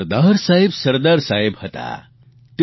પરંતુ સરદાર સાહેબ સરદાર સાહેબ હતા